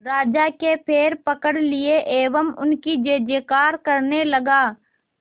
राजा के पैर पकड़ लिए एवं उनकी जय जयकार करने लगा